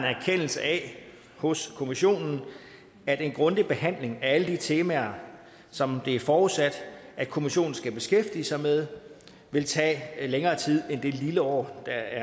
erkendelse af hos kommissionen at en grundig behandling af alle de temaer som det er forudsat at kommissionen skal beskæftige sig med vil tage længere tid end det lille år der